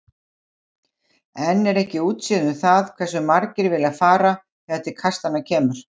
Enn er ekki útséð um það hversu margir vilja fara þegar til kastanna kemur.